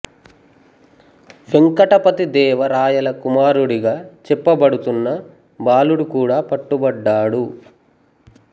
వేంకటపతి దేవ రాయల కుమారుడిగా చెప్పబడుతున్న బాలుడు కూడా పట్టుబడ్డాడు